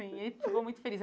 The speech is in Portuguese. Ele ficou muito feliz.